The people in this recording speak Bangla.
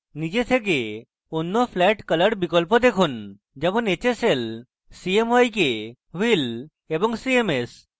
নিজে থেকে অন্য flat color বিকল্প দেখুন যেমন hsl cmyk wheel এবং cms